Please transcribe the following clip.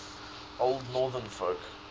old northern folk